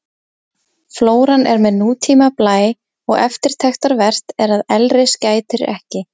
Flóran er með nútíma blæ og eftirtektarvert er að elris gætir ekki.